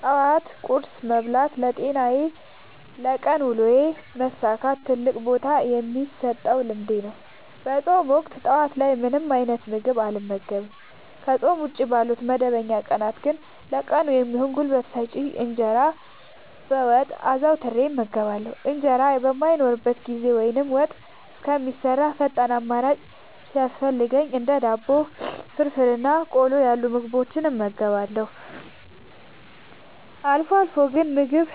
ጠዋት ቁርስ መብላት ለጤናዬና ለቀን ውሎዬ መሳካት ትልቅ ቦታ የምሰጠው ልምዴ ነው። በፆም ወቅት ጠዋት ላይ ምንም አይነት ምግብ አልመገብም። ከፆም ውጪ ባሉ መደበኛ ቀናት ግን ለቀኑ የሚሆን ጉልበት የሚሰጠኝን እንጀራ በወጥ አዘውትሬ እመገባለሁ። እንጀራ በማይኖርበት ጊዜ ወይም ወጥ እስከሚሰራ ፈጣን አማራጭ ሲያስፈልገኝ እንደ ዳቦ፣ ፍርፍር እና ቆሎ ያሉ ምግቦችን እመገባለሁ። አልፎ አልፎ ግን ምግብ